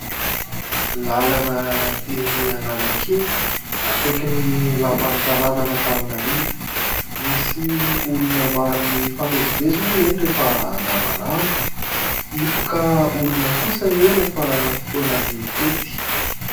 Làlana eny Analakely, akaikin'ny Lapan'ny tanànan'Antananarivo. Misy olona maro mifamezivezy moa eny rehefa andavanandro. Hipoka olona kosa eo rehefa fotoanan'ny fety.